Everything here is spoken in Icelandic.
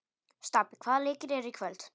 Stapi, hvaða leikir eru í kvöld?